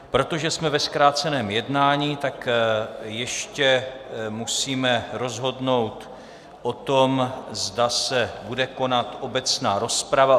Protože jsme ve zkráceném jednání, tak ještě musíme rozhodnout o tom, zda se bude konat obecná rozprava.